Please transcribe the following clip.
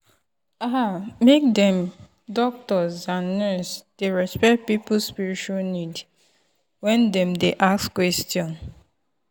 ah make dem doctors and nurse dey respect people spiritual need when dem dey ask question.